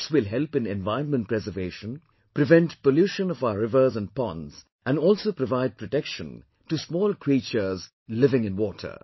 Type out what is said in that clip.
This will help in environment preservation, prevent pollution of our rivers and ponds and also provide protection to small creatures living in water